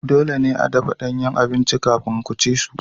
Dole ne a dafa danyen abinci kafin ku ci su.